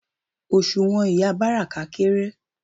Òṣùwọ̀n ìyá Báràká kééré.